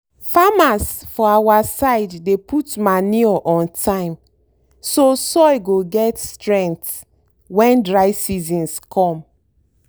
farmers for our side dey put manure on time so soil go get strength when dry seasons come.